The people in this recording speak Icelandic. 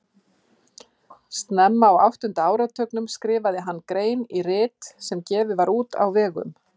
Snemma á áttunda áratugnum skrifaði hann grein í rit sem gefið var út á vegum